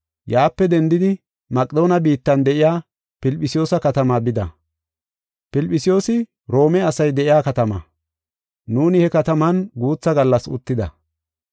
Yaape dendidi Maqedoone biittan de7iya Filphisiyuusa katama bida. Filphisiyuusi Roome asay de7iya katama. Nuuni he kataman guutha gallas uttida.